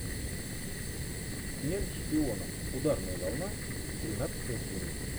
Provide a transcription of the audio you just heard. смерть шпионам ударная волна тринадцатая серия